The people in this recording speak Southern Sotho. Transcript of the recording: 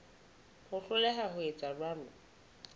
ho hloleha ho etsa jwalo